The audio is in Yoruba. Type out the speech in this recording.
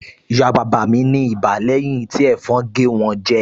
Ìyá bàbá mi ní ibà lẹ́yìn tí ẹ̀fọn gé wọn jẹ